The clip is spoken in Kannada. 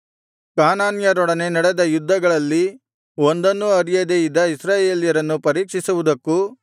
ಕಾನಾನ್ಯರೊಡನೆ ನಡೆದ ಯುದ್ಧಗಳಲ್ಲಿ ಒಂದನ್ನೂ ಅರಿಯದೆ ಇದ್ದ ಇಸ್ರಾಯೇಲ್ಯರನ್ನು ಪರೀಕ್ಷಿಸುವುದಕ್ಕೂ